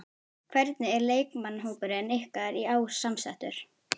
Hvernig er leikmannahópurinn ykkar í ár samsettur?